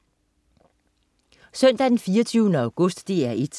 Søndag den 24. august - DR 1: